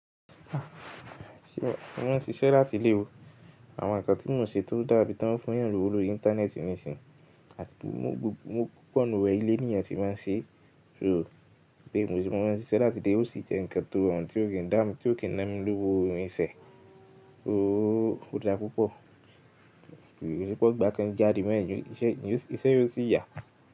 Wọn ń ṣiṣẹ́ láti ilé o. Àwọn nǹkan tí mo ń ṣe tó ń dábí tí wọ́n ń fún èèyàn lówó lórí íńtánẹ́ẹ̀tì nísin. Àti pé mo gbọ́ pọ̀nú re ìlé ni'yàn tí máa ń ṣe. Béè mo sì mo máa ń ṣiṣẹ́ láti ilé, ó sì jẹ́ nǹkan tó ràn tí ò kì í dánu, tí ò kì í na mi lówó irinṣẹ́. Ó dáa púpọ̀. Ko n se p'ongbà kin jáde be yen ìṣẹ́, iṣẹ́ yoò sì yà.